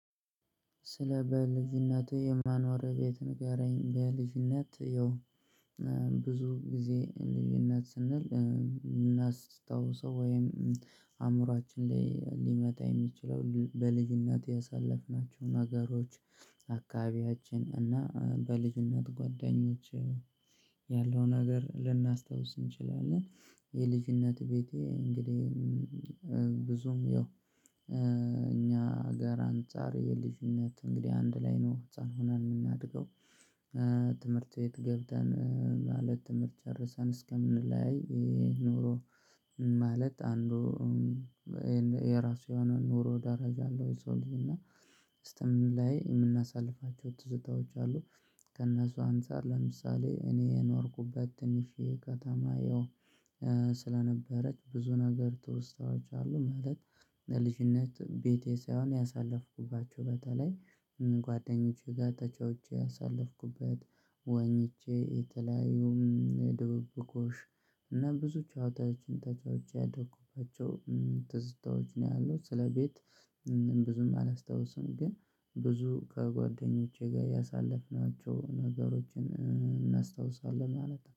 ስለ በልጅነቴ የማኖረው ቤት ንገረኝ? በልጅነት ያው ብዙ ጊዜ ልጅነት ስንል እናስታውሰው ወይም አእምሮአችን ላይ ሊመጣ የሚችለው በልጅነት ያሳለፍናቸው ነገሮች። አከባቢያችን እና በልጅነት ጓደኞቼ ያለውንነገር ልናስታውስ እንችላለን። የልጅነት ቤቴ እንግዲህ ብዙም ያው እኛ ሀገር አንፃር የልጅነት እንግዲህ አንድ ላይ ነው ህፃን ሆን የምናድገው። ትምህርት ቤት ገብተን ማለት ትምህርት ጨርሰን እስከምንለያይ። ኑሮ ማለት አንዱ የራሱ የሆነ ኑሮ ደረጃ አለው። የሰው ልጅ እና እስከምንለያይ የምናሳልፋቸው ትዝታዎች አሉ። ከእነሱ አንፃር ለምሳሌ እኔ የኖርኩበት ትንሽዬ ከተማ ያው ስለነበረች ብዙ ነገር ትውስታዋች አሉ። ማለት በልጅነት ቤቴ ሳይሆን ያሳለፍኩባቸው በተለይ ጓደኞቼ ጋር ተጫውቼ ያሳለፍኩበት ዋኝቼ የተለያዩም ድብብቆሽ እና ብዙ ጨዋታዎችን ተጫውቼ ያደኩባቸው ትዝታዎች ነው። ያለት ስለ ቤት ብዙም አላስታውስም። ግን ብዙ ከጓደኞቼ ጋር ያሳለፍናቸው ነገሮችን እናስታውሳለን ማለት ነው